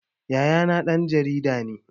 Yayana ɗan jarida ne